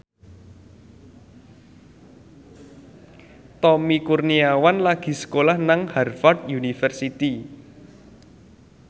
Tommy Kurniawan lagi sekolah nang Harvard university